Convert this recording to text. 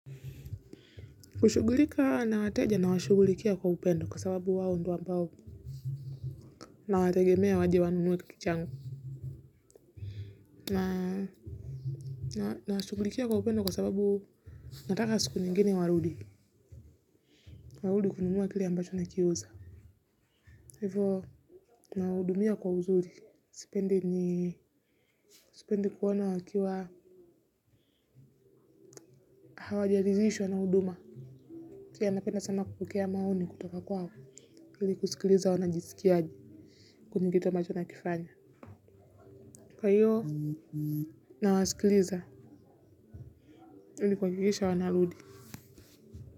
Kushughulika na wateja na washughulikia kwa upendo kwa sababu wao ndio ambao nawategemea waje wanunue kitu changu. Na nawashugulikia kwa upendo kwa sababu nataka siku nyingine warudi. Warudi kununua kile ambacho nakiuza. Hivo nawahudumia kwa uzuri. Sipendi sipendi kuwaona wakiwa hawajaridhishwa na huduma. Pia napenda sama kupokea maoni kutoka kwao ili kusikiliza wanajisikiaje. Kuzingatia ambacho nakifanya. Kwa hiyo nawasikiliza, ili kuhakikisha wanarudi.